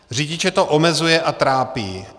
Řidiče to omezuje a trápí.